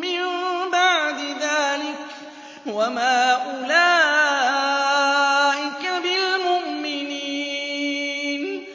مِّن بَعْدِ ذَٰلِكَ ۚ وَمَا أُولَٰئِكَ بِالْمُؤْمِنِينَ